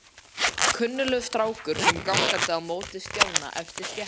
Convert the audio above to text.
Kunnuglegur strákur kom gangandi á móti Stjána eftir stéttinni.